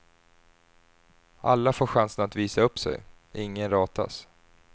Alla får chansen att visa upp sig, ingen ratas.